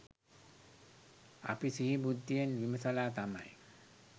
අපි සිහි බුද්ධියෙන් විමසලා තමයි